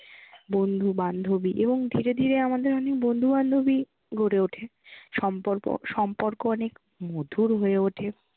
বন্ধু বান্ধবী এবং ধীরে ধীরে আমাদের অনেক বন্ধু বান্ধবী গড়ে ওঠে। সম্পর্ক অনেক মধুর হয়ে ওঠে।